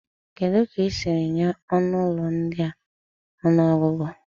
Kedu ka ị siri nye ọnụ ụlọ ndị a ọnụọgụgụ?